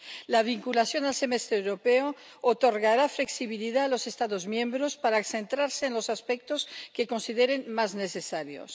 La vinculación al Semestre Europeo otorgará flexibilidad a los Estados miembros para centrarse en los aspectos que consideren más necesarios.